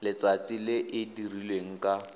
letsatsi le e dirilweng ka